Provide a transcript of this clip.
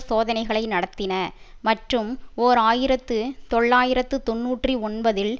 சோதனைகளை நடத்தின மற்றும் ஓர் ஆயிரத்து தொள்ளாயிரத்து தொன்னூற்றி ஒன்பதில்